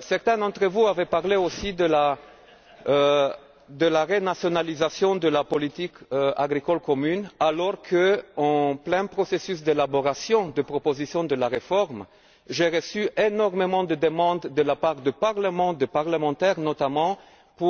Certains d'entre vous avaient aussi parlé de renationalisation de la politique agricole commune, alors qu'en plein processus d'élaboration de la proposition de réforme, j'ai reçu énormément de demandes de la part du Parlement, de parlementaires, notamment en